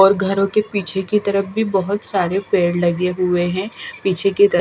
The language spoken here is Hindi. और घरों के पीछे की तरफ भी बहुत सारे पेड़ लगे हुए हैं पीछे की त--